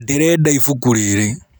Ndĩrenda kũgũra ibuku rĩrĩ.